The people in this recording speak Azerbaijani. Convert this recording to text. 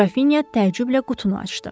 Qrafinya təəccüblə qutunu açdı.